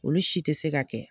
Olu si tɛ se ka kɛ.